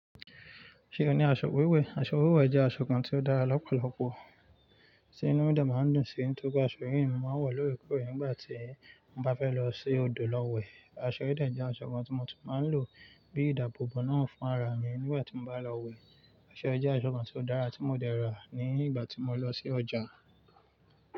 Ṣe o ni aṣọ wíwẹ̀? Aṣọ wíwẹ̀ jẹ aṣọ kan ti o dara lọpọlọpọ. Ti inu mi de maa n dun si, tọri pe aṣọ yii mo maa wọ l'órekore nígbàtí mo bá fẹ́ lọ sí odò lọ wẹ̀. Aṣọ yi de jẹ aṣọ kan ti mo tún máa ń lò bíi ìdáàbòbò náà fun ara mi nígbàti mo bá lọ wẹ̀. Aṣọ yii je aṣọ kan ti o dára tí mo dẹ ra ní ìgbà tí mo lọ sí ọjà.